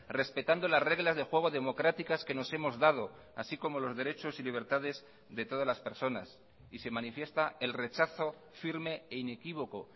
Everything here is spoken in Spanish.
respetando las reglas de juego democráticas que nos hemos dado así como los derechos y libertades de todas las personas y se manifiesta el rechazo firme e inequívoco